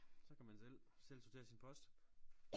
Så kan selv selv sortere sin post